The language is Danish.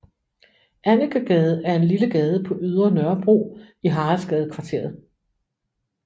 Annekegade er en lille gade på Ydre Nørrebro i Haraldsgadekvarteret